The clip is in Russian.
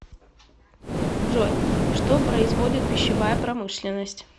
джой что производит пищевая промышленность